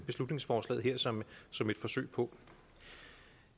beslutningsforslaget her som som et forsøg på